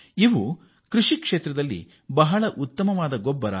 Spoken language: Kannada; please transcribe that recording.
ಇದು ಕೃಷಿ ವಲಯಕ್ಕೆ ಉತ್ತಮ ಗುಣಮಟ್ಟದ ಗೊಬ್ಬರವಾಗಿದೆ